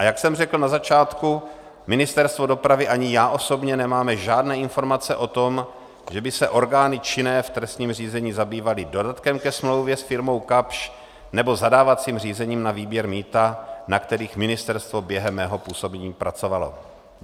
A jak jsem řekl na začátku, Ministerstvo dopravy ani já osobně nemáme žádné informace o tom, že by se orgány činné v trestním řízení zabývaly dodatkem ke smlouvě s firmou Kapsch nebo zadávacím řízením na výběr mýta, na kterých ministerstvo během mého působení pracovalo.